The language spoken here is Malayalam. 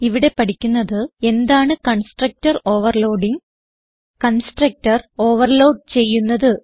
ഇവിടെ പഠിക്കുന്നത് എന്താണ് കൺസ്ട്രക്ടർ ഓവർലോഡിങ് കൺസ്ട്രക്ടർ ഓവർലോഡ് ചെയ്യുന്നത്